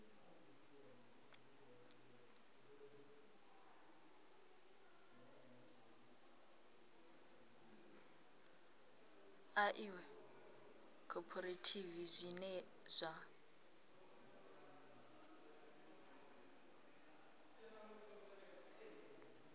ḽa iṅwe khophorethivi zwine zwa